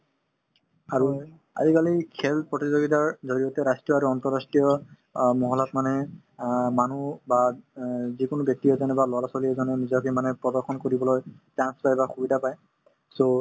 আৰু আজিকালি খেল প্ৰতিযোগীতাৰ জৰিয়তে ৰাষ্ট্ৰীয় আৰু আন্তঃৰাষ্ট্ৰীয় অ মহলাত মানে অ মানুহ বা অ যিকোনো ব্যক্তি এজনে বা লৰা-ছোৱালী এজনে নিজকে মানে প্ৰদৰ্শন কৰিবলৈ chance পাই বা সুবিধা পাই so